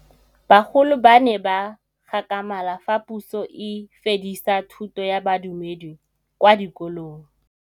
Bagolo ba ne ba gakgamala fa Pusô e fedisa thutô ya Bodumedi kwa dikolong.